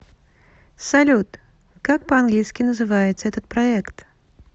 салют как по английски называется этот проект